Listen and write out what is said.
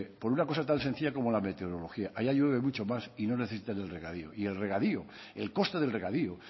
por una cosa tan sencilla como la meteorología allá llueve mucho más y no necesitan del regadío y el regadío el coste del regadío